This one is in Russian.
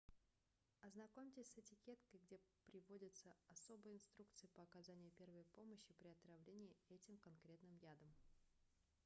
ознакомьтесь с этикеткой где приводятся особые инструкции по оказанию первой помощи при отравлении этим конкретным ядом